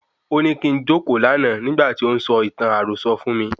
Óní kín jókòó lànà nígbà tí ó ń sọ ìtàn àròsọ fún mí..